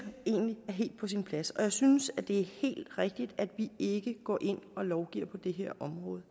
egentlig er helt på sin plads og jeg synes det er helt rigtigt at vi ikke går ind og lovgiver på det her område